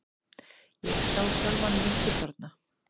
Ég sá sjálfa mig fullorðna.